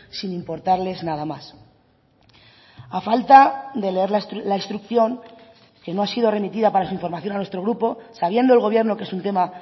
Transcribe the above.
sin importarles nada más a falta de leer la instrucción que no ha sido remitida para su información a nuestro grupo sabiendo el gobierno que es un tema